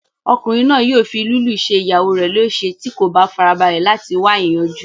Ọkùnrin náà yóò fi lílù ṣe ìyàwó rẹ léèse tí kò bá farabalẹ̀ láti wá ìyanjú